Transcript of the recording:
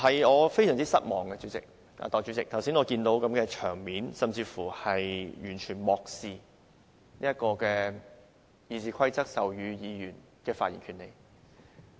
我非常失望，代理主席，我看見剛才的場面甚至是完全漠視《議事規則》賦予議員的發言權利。